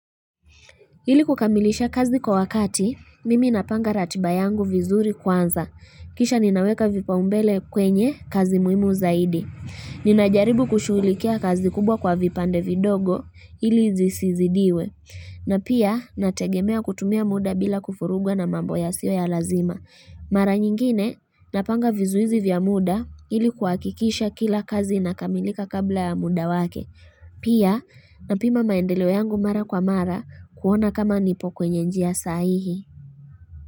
Ili kukamilisha kazi kwa wakati, mimi napanga ratiba yangu vizuri kwanza. Kisha ninaweka vipaumbele kwenye kazi muhimu zaidi. Ninajaribu kushughulikia kazi kubwa kwa vipande vidogo ili zisizidiwe. Na pia nategemea kutumia muda bila kufurugwa na mambo yasio ya lazima. Mara nyingine napanga vizuizi vya muda ili kuakikisha kila kazi inakamilika kabla ya muda wake. Pia napima maendeleo yangu mara kwa mara kuona kama nipo kwenye njia sahihi.